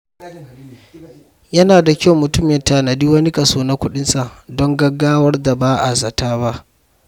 Yana da kyau mutum ya tanadi wani kaso na kuɗinsa don gaggawar da ba a zata ba.